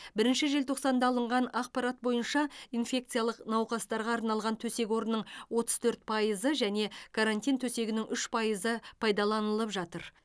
бірінші желтоқсанда алынған ақпарат бойынша инфекциялық науқастарға арналған төсек орынның отыз төрт пайыз және карантин төсегінің үш пайыз пайдаланылып жатыр